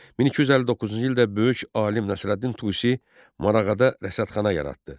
1259-cu ildə böyük alim Nəsrəddin Tusi Marağada rəsədxana yaratdı.